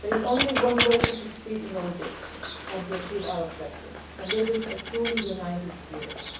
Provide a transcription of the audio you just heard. There is only one way to succeed in all this and to achieve our objectives, and this is a truly united